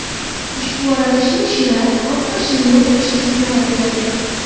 Ushbu aralashma shira, oq pashshani yo‘q qilishda samara beradi.